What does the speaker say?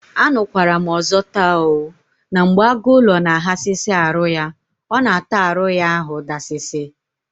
Anukwaram ọzọ taa oo! na mgbe agụ ụlọ na aghasịsị arụ ya, ọ na ata arụ ya ahụ dasịsị